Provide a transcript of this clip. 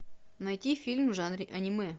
найти фильм в жанре аниме